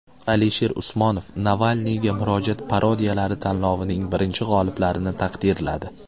Alisher Usmonov Navalniyga murojaat parodiyalari tanlovining birinchi g‘oliblarini taqdirladi.